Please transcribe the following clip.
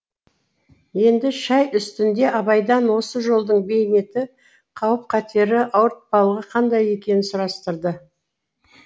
енді шай үстінде абайдан осы жолдың бейнеті қауіп қатері ауыртпалығы қандай екенін сұрастырды